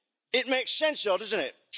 It makes sense though doesn't it?